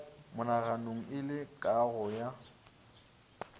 monaganong le go kago ya